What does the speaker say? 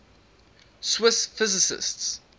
swiss physicists